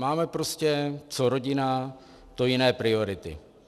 Máme prostě co rodina, to jiné priority.